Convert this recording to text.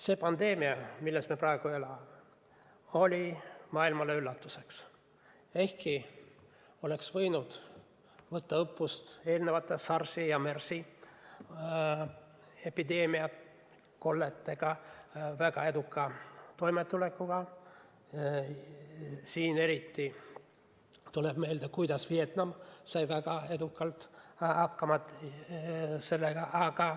See pandeemia, milles me praegu elame, oli maailmale üllatuseks, ehkki oleks võinud võtta õppust eelnevast väga edukast SARS-i ja MERS-i epideemiaga toimetulekust – eriti tuleb siin meelde, kuidas Vietnam sai sellega edukalt hakkama.